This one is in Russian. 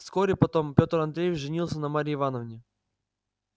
вскоре потом петр андреевич женился на марье ивановне